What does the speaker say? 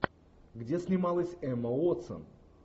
где снималась эмма уотсон